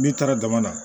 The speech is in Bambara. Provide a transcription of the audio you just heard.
N'i taara dama na